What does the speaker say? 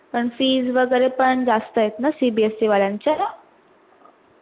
पण fees वैगेरे पण जास्त आहेत ना CBSE वाल्यांचा?